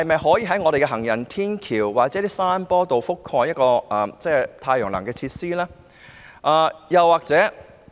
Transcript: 可否在行人天橋或山坡裝設太陽能發電設施？